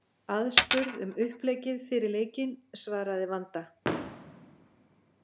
Aðspurð um uppleggið fyrir leikinn svaraði Vanda: